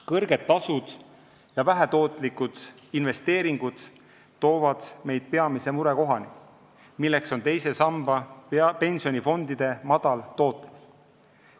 Kõrged tasud ja vähetootlikud investeeringud toovad meid peamise murekohani, milleks on teise samba pensionifondide madal tootlus.